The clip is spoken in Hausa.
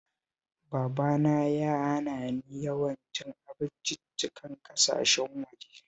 Babana ya hana ni yawan cin abinciccikan ƙasashen waje